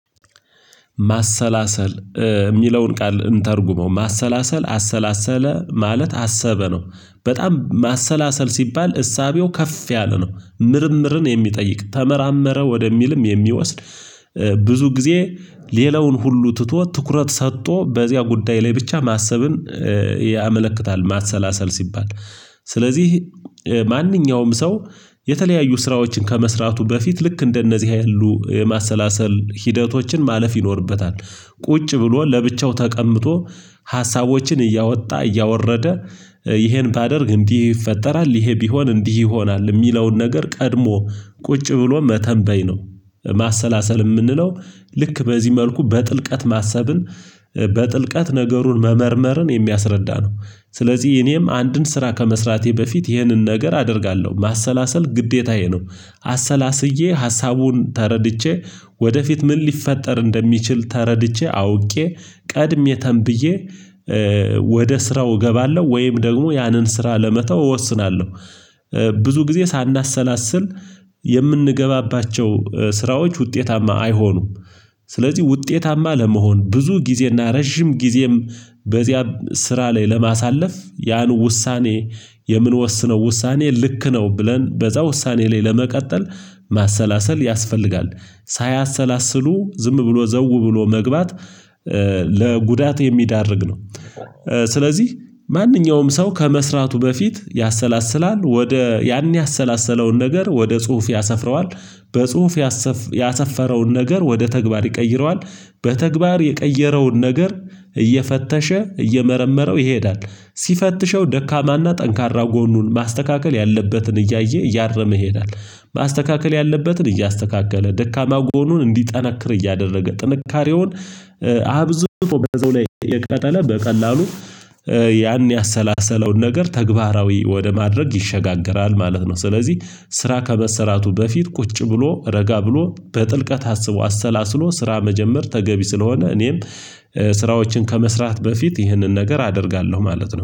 ማሰላሰል የሚለውን ቃል እንተርጉመው። ማሰላሰል አሰላሰለ ማለት አሰበ ነው። በጣም ማሰላሰል ሲባል እሳቤው ከፍ ያለ ነው። ምርምርን የሚጠይቅ ተመራመረ ወደሚልም የሚወስድ ብዙ ጊዜ ሌላውን ሁሉ ትቶ ትኩረት ሰጥቶ በዚያ ጉዳይ ላይ ብቻ ማሰብን ያመለክታል ማሰላሰል ሲባል። ስለዚህ ማንኛውም ሰው የተለያዩ ስራዎችን ከመስራቱ በፊት ልክ እንደነዚህ ያሉ የማሰላሰል ሂደቶችን ማለፍ ይኖርበታል። ቁጭ ብሎ ለብቻው ተቀምጦ ሀሳቦችን እያወጣ እያወረደ ይሄን ባደርግ እንዲህ ይፈጠራል ይሄ ቢሆን እንዲህ ይሆናል የሚለውን ነገር ቀድሞ ቁጭ ብሎ መተንበይ ነው። ማሰላሰል የምንለው ልክ በዚህ መልኩ በጥልቀት ማሰብን በጥልቀት ነገሩን መመርመርን የሚያስረዳ ነው። ስለዚህ እኔም አንድን ስራ ከመስራቴ በፊት ይህንን ነገር አደርጋለሁ። ማሰላሰል ግዴታዬ ነው። አሰላስዬ ሀሳቡን ተረድቼ ወደፊት ምን ሊፈጠር እንደሚችል ተረድቼ አውቄ ቀድሜ ተንብዬ ወደ ስራው እገባለሁ ወይም ደግሞ ያንን ስራ ለመተው እወስናለሁ። ብዙ ጊዜ ሳናሰላስል የምንገባባቸው ስራዎች ውጤታማ አይሆኑም። ስለዚህ ውጤታማ ለመሆን ብዙ ጊዜና ረጅም ጊዜም በዚያም ስራ ላይ ለማሳለፍ ያን ውሳኔ የምንወስነው ውሳኔ ልክ ነው ብለን በዛ ውሳኔ ላይ ለመቀጠል ማሰላሰል ያስፈልጋል። ሳያሰላስሉ ዝም ብሎ ዘው ብሎ መግባት ለጉዳት የሚያዳርግ ነው። ስለዚህ ማንኛውም ሰው ከመስራቱ በፊት ያሰላስላል። ወደ ያን ያሰላሰለውን ነገር ወደ ጽሁፍ ያሰፍረዋል። በጽሁፍ ያሰፈረውን ነገር ወደ ተግባር ይቀይረዋል። በተግባር የቀየረውን ነገር እየፈተሸ እየመረመረው ይሄዳል። ሲፈትሸው ደካማና ጠንካራ ጎኑን ማስተካከል ያለበትን እያየ እያረመ ይሄዳል። ማስተካከል ያለበትን እያስተካከለ፤ ደካማ ጎኑን እንዲጠናክር እያደረገ፤ ጥንካሬውን አብዝቶ በዛው ላይ እየቀጠለ በቀላሉ ያን ያሰላሰለውን ነገር ተግባራዊ ወደ ማድረግ ይሸጋገራል ማለት ነው። ስለዚህ ስራ ከመሰራቱ በፊት ቁጭ ብሎ፤ ረጋ ብሎ፤ በጥልቀት አስቦ አሰላስሎ ስራ መጀመር ተገቢ ስለሆነ እኔም ስራዎችን ከመስራት በፊት ይህንን ነገር አደርጋለሁ ማለት ነው።